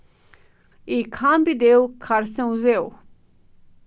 I, kam bi del, kar sem vzel?